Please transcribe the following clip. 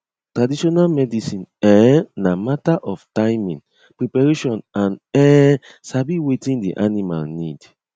traditional medicine um na matter of timing preparation and um sabi wetin the animal need